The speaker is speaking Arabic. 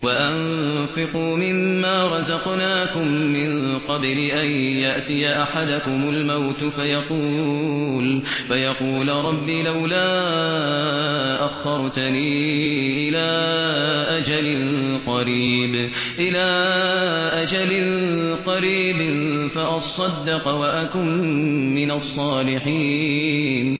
وَأَنفِقُوا مِن مَّا رَزَقْنَاكُم مِّن قَبْلِ أَن يَأْتِيَ أَحَدَكُمُ الْمَوْتُ فَيَقُولَ رَبِّ لَوْلَا أَخَّرْتَنِي إِلَىٰ أَجَلٍ قَرِيبٍ فَأَصَّدَّقَ وَأَكُن مِّنَ الصَّالِحِينَ